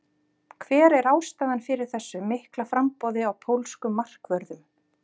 Hver er ástæðan fyrir þessu mikla framboði á pólskum markvörðum?